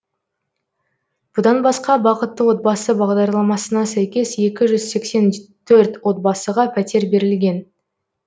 бұдан басқа бақытты отбасы бағдарламасына сәйкес екі жүз сексен төрт отбасыға пәтер берілген